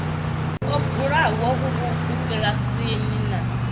o bvulaho vhurukhu kiḽasini na